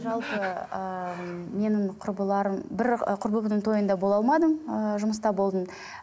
жалпы ыыы менің құрбыларым бір і құрбымның тойында бола алмадым ыыы жұмыста болдым